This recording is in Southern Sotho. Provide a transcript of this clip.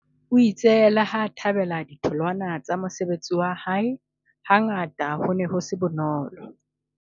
O itse leha a thabela ditholwana tsa mosebetsi wa hae, hangata ho ne ho se bonolo.